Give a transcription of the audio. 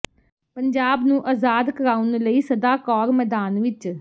ਪੰਜਾਬ ਨੂੰ ਅਜ਼ਾਦ ਕਰਾਉਣ ਲਈ ਸਦਾ ਕੌਰ ਮੈਦਾਨ ਵਿਚ